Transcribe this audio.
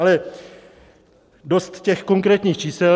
Ale dost těch konkrétních čísel.